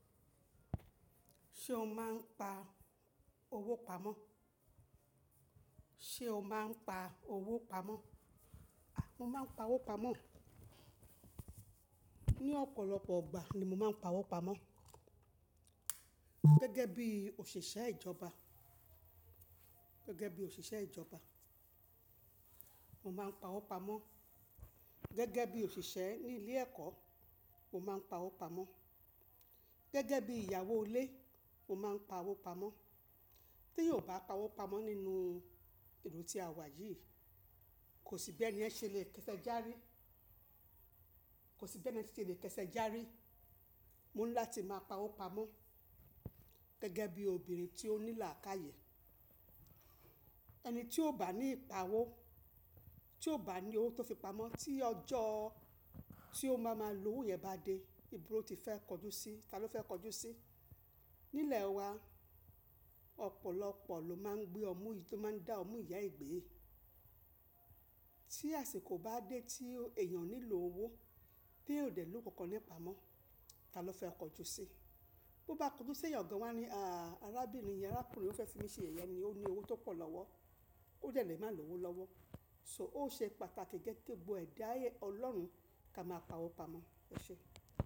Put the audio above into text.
Ṣé o máa ń pa owó pamọ́? Sé o máa ń pa owó pamọ́? A! Mo máa ń pa owó pamọ́. Ni ọ̀pọ̀lọpọ̀ ọgbà ni mo máa ń pa owó pamọ́. Gẹ́gẹ́ bí òṣìṣẹ́ ìjọba, gẹ́gẹ́ bí òṣìṣẹ́ ìjọba, mo máa ń pa owó pamọ́. Gẹ́gẹ́ bí òṣìṣẹ́ ní ilé ẹ̀kọ́, mo máa ń pa owó pamọ́. Gẹ́gẹ́ bí ìyàwó ilé, mo máa ń pa owó pamọ́. Tí yóò bá pa owó pamọ́ nínú ìlú tí a wà yìí, kò sí bẹ́ni yẹ́n ṣe lè kẹsẹ járí. Kò sí bẹ́ni ẹ́ ṣe lè kẹsẹ járí. Mo ńlá ti máa pa owó pamọ́. Gẹ́gẹ́ bí obìnrin tí ó ní làákàyè. Ẹni tí ó bá ní ìpá owó, tí ó bá ní owó tó fi pamọ́, tí ọjọ́ tí ó máa ma lo owó rẹ̀ bá dé, ìbo lo ti fẹ́ kọjú sí i, ta ló fẹ́ kọjú sí i? Nílẹ̀ wa, ọ̀pọ̀lọpọ̀ ló máa ń gbé ọmú yìí tó máa ń dá ọmú ìyá ẹ̀ gbé yìí. Tí àsìkò bá dé tí èèyàn nílò owó, tí yóò dẹ̀ lówó kankan nípa mó, ta ló fẹ́ kọjú sí i? Bo bá kọjú sí ẹ̀yàn gan, wọ́n á ní, "àá arábìnrin yẹn, arákùnrin yen ó fẹ́ fi mí ṣe yẹ̀yẹ̀ ni ó ní owó tó pọ̀ lọ́wọ́. Ó dẹ̀ lé máa lo owó lọ́wọ́." So ó ṣe pàtàkì gẹ́gẹ́ bo ẹ̀dá ayé Ọlọ́run ká máa pa owó pamọ́. Ọ̀ṣẹ́.